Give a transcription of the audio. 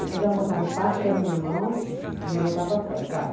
Depois ela botava o passe na minha mão e me botava para fora, vai.